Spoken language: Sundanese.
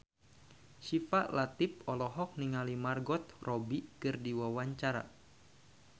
Syifa Latief olohok ningali Margot Robbie keur diwawancara